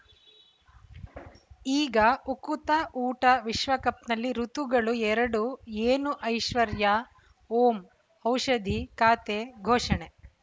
ಈಗ ಉಕುತ ಊಟ ವಿಶ್ವಕಪ್‌ನಲ್ಲಿ ಋತುಗಳು ಎರಡು ಏನು ಐಶ್ವರ್ಯಾ ಓಂ ಔಷಧಿ ಖಾತೆ ಘೋಷಣೆ